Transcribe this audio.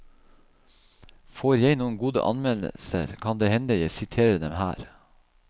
Får jeg noen gode anmeldelser kan det hende jeg siterer dem her.